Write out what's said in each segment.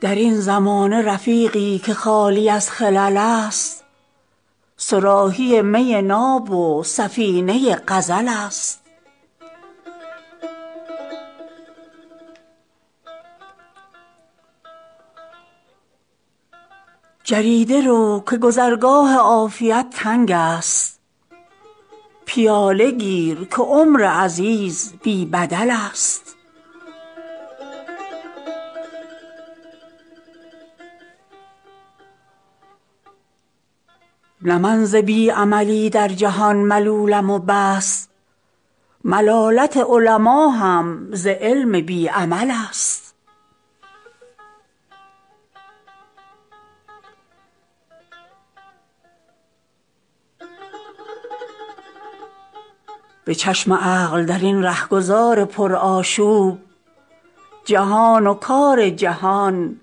در این زمانه رفیقی که خالی از خلل است صراحی می ناب و سفینه غزل است جریده رو که گذرگاه عافیت تنگ است پیاله گیر که عمر عزیز بی بدل است نه من ز بی عملی در جهان ملولم و بس ملالت علما هم ز علم بی عمل است به چشم عقل در این رهگذار پرآشوب جهان و کار جهان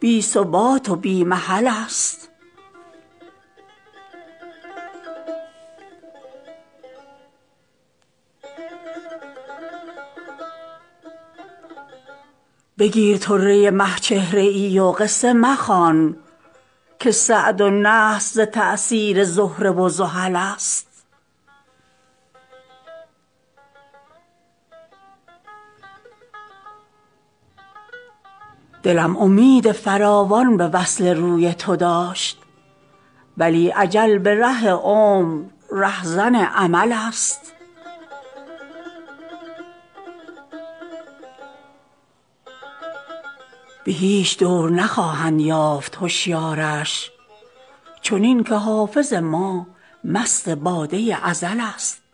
بی ثبات و بی محل است بگیر طره مه چهره ای و قصه مخوان که سعد و نحس ز تأثیر زهره و زحل است دلم امید فراوان به وصل روی تو داشت ولی اجل به ره عمر رهزن امل است به هیچ دور نخواهند یافت هشیارش چنین که حافظ ما مست باده ازل است